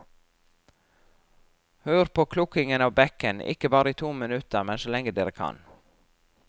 Hør på klukkingen av bekken, ikke bare i to minutter, men så lenge dere kan.